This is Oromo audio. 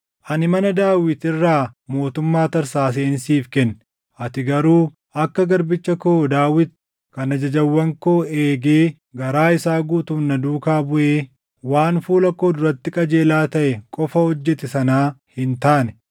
Ani mana Daawit irraa mootummaa tarsaaseen siif kenne; ati garuu akka garbicha koo Daawit kan ajajawwan koo eegee garaa isaa guutuun na duukaa buʼee waan fuula koo duratti qajeelaa taʼe qofa hojjete sanaa hin taane.